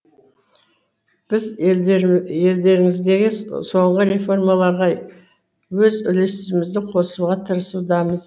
біз елдеріңіздегі соңғы реформаларға өз үлесімізді қосуға тырысудамыз